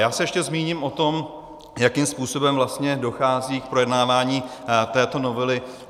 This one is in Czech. Já se ještě zmíním o tom, jakým způsobem vlastně dochází k projednávání této novely.